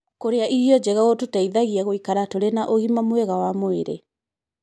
Kũrĩa irio njega gũtũteithagia gũikara tũrĩ na ũgima mwega wa mwĩrĩ.